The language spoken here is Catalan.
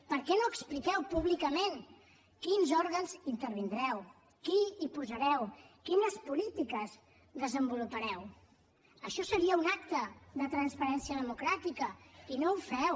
per què no expliqueu públicament quins òrgans intervindreu qui hi posareu quines polítiques desenvolupareu això seria un acte de transparència democràtica i no ho feu